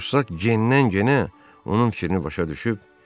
Jussak cinlənginə onun fikrini başa düşüb: